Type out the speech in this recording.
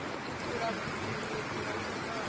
u tutula vhumbindudzi ho bvelaho